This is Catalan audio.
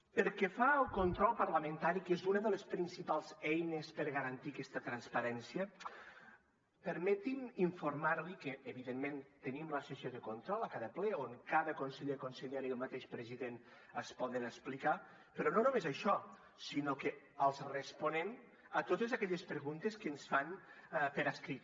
pel que fa al control parlamentari que és una de les principals eines per garantir aquesta transparència permeti’m informar li que evidentment tenim la sessió de control a cada ple on cada conseller consellera i el mateix president es poden explicar però no només això sinó que els responem a totes aquelles preguntes que ens fan per escrit